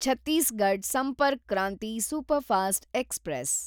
Chhattisgarh Sampark Kranti superfast express